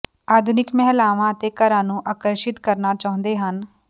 ਆਧੁਨਿਕ ਮਹਿਲਾਵਾਂ ਅਤੇ ਘਰਾਂ ਨੂੰ ਆਕਰਸ਼ਿਤ ਕਰਨਾ ਚਾਹੁੰਦੇ ਹਨ